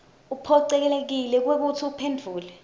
uphocelekile kwekutsi uphendvule